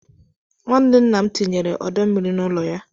Nwanne nna m tinyere ọdọ mmiri n'ụlọ ya.